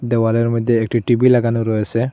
দেওয়ালের মইদ্যে একটি টি_বি লাগানো রয়েসে।